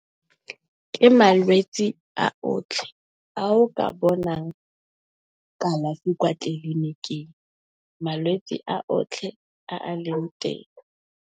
Ke malwetsi a otlhe a o ka bonang kalafi kwa tleliniking. Malwetsi a otlhe a leng teng.